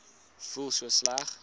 voel so sleg